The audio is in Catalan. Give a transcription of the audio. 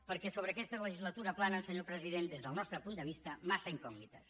perquè sobre aquesta legislatura planen senyor president des del nostre punt de vista massa incògnites